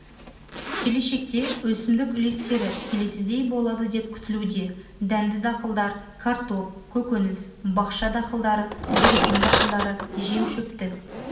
келешекте өсімдік үлестері келесідей болады деп күтілуде дәнді дақылдар картоп көкөніс бақша дақылдары зәйтүн дақылдары жемшөптік